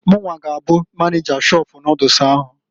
Munwa g'abụ maneja shọpụ noodles ahụ.